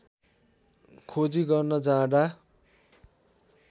खोजी गर्न जाँदा